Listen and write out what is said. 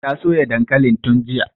Ta soya dankalin tun jiya